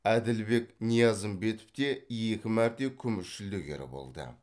әділбек ниязымбетов те екі мәрте күміс жүлдегері болды